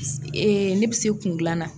ne bɛ se kungilan na.